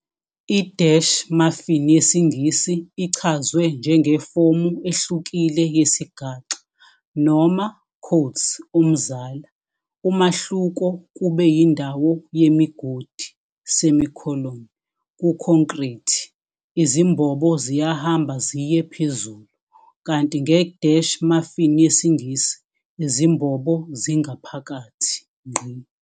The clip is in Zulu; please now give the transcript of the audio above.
I-muffin yesiNgisi ichazwe njengefomu ehlukile yesigaxa, noma "umzala", umahluko kube yindawo yemigodi, kukhonkrithi, izimbobo ziyahamba ziye phezulu, kanti nge-muffin yesiNgisi, izimbobo zingaphakathi.